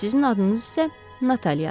Sizin adınız isə Nataliadır.